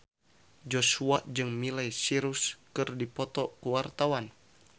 Joshua jeung Miley Cyrus keur dipoto ku wartawan